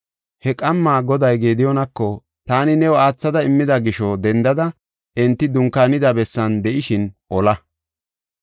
He qamma Goday Gediyoonako, “Taani new aathada immida gisho dendada enti dunkaanida bessan de7ishin ola.